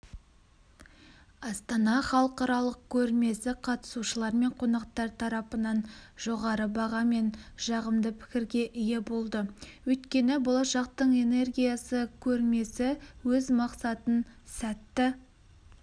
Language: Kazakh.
астана халықаралық көрмесі қатысушылар мен қонақтар тарапынан жоғары баға мен жағымды пікірге ие болды өйткені болашақтың энергиясы көрмесі өз мақсатын сәтті